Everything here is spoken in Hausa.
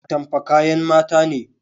Atamfa kayan mata ne